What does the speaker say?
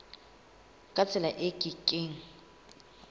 ka tsela e ke keng